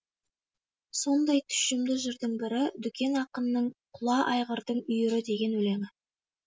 сондай тұщымды жырдың бірі дүкен ақынның құла айғырдың үйірі деген өлеңі